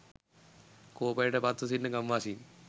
කෝපයට පත්ව සිටින ගම්වාසීන්